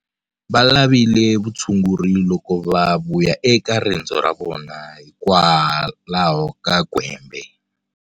Va lavile vutshunguri loko va vuya eka rendzo ra vona hikwalaho ka gwembe.